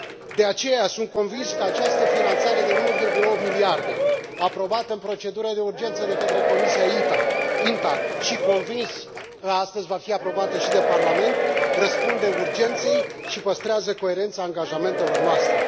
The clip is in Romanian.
De aceea, sunt convins că această finanțare de 1,8 miliarde, aprobată prin procedură de urgență de către Comisia INTA și sunt convins că astăzi va fi aprobată și de Parlament răspunde urgenței și păstrează coerența angajamentelor noastre.